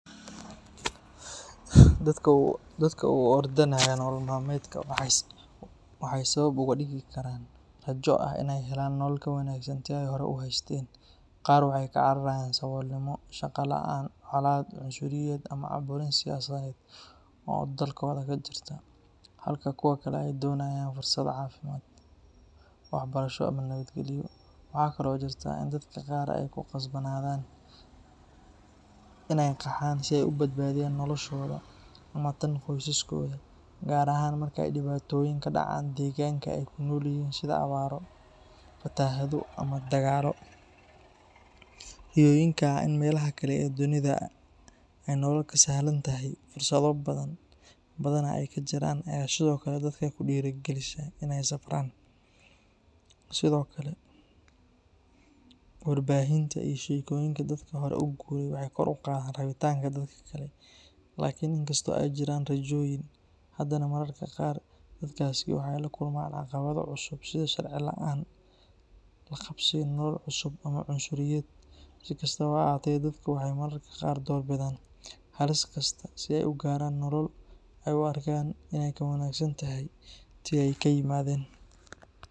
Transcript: Dadka u ordanaya nolol malmedka waxay sabab uga dhigi karaan rajo ah in ay helaan nolol ka wanaagsan tii ay hore u haysteen. Qaar waxay ka cararayaan saboolnimo, shaqo la'aan, colaad, cunsuriyad ama caburin siyaasadeed oo dalkooda ka jirta, halka kuwa kale ay doonayaan fursado caafimaad, waxbarasho ama nabadgelyo. Waxaa kale oo jirta in dadka qaar ay ku qasbanaadaan in ay qaxaan si ay u badbaadiyaan noloshooda ama tan qoysaskooda, gaar ahaan marka ay dhibaatooyin ka dhacaan deegaanka ay ku nool yihiin sida abaaro, fatahaado ama dagaallo. Riyooyinka ah in meelaha kale ee dunida ay nolol ka sahlan tahay, fursado badana ay ka jiraan, ayaa sidoo kale dadka ku dhiirrigelisa in ay safraan. Sidoo kale, warbaahinta iyo sheekooyinka dadka hore u guuray waxay kor u qaadaan rabitaanka dadka kale. Laakiin in kastoo ay jiraan rajooyin, haddana mararka qaar dadkaasi waxay la kulmaan caqabado cusub sida sharci la’aan, la qabsiga nolol cusub, ama cunsuriyad. Si kastaba ha ahaatee, dadka waxay mararka qaar door bidaan halis kasta si ay u gaaraan nolol ay u arkaan in ay ka wanaagsan tahay tii ay ka yimaadeen.